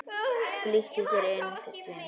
Flýtti sér inn til sín.